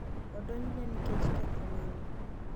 odonjne nikech ketho mane?